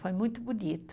Foi muito bonito.